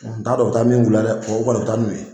N t'a dɔ u bi taa min k'u la dɛ o kɔni u bi taa n'u ye.